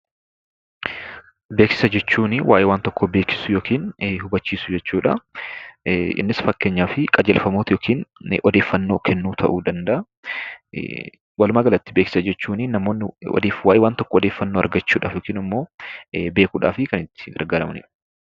Beeksisa jechuun waa'ee waan tokkoo beeksisuu yookiin hubachiisuu jechuudha. Innis fakkeenyaaf qajeelfamoota yookiin odeeffannoo kennuu ta'uu danda'a. Walumaagalatti beeksisa jechuun namoonni waa'ee waan tokkoo odeeffannoo argachuudhaaf yookaan immoo beekuudhaaf kan itti gargaaramanidha.